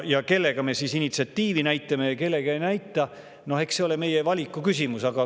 Ja kelle puhul me initsiatiivi üles näitame ja kelle puhul ei näita, noh, eks see ole meie valiku küsimus.